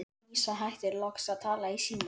Dísa hættir loks að tala í símann.